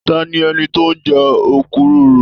Tani ẹni tó n jẹ okuroro?